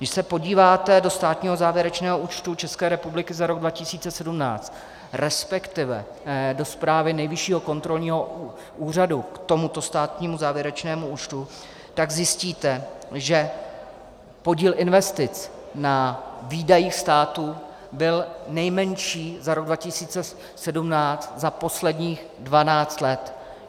Když se podíváte do státního závěrečného účtu České republiky za rok 2017, respektive do zprávy Nejvyššího kontrolního úřadu k tomuto státnímu závěrečnému účtu, tak zjistíte, že podíl investic na výdajích státu byl nejmenší za rok 2017 za posledních 12 let.